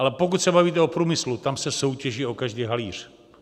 Ale pokud se bavíte o průmyslu, tam se soutěží o každý halíř.